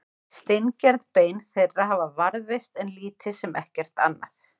steingerð bein þeirra hafa varðveist en lítið sem ekkert annað